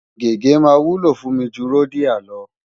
Gègé máa wúlò fún mi ju Rodiah lọ.